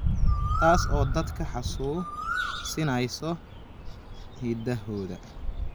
taas oo dadka xasuusinaysa hidahooda.